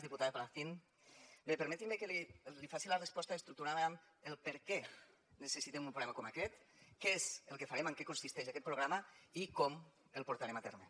diputada palacín bé permeti’m que li faci la resposta estructurant la amb per què necessitem un programa com aquest què és el que farem en què consisteix aquest programa i com el portarem a terme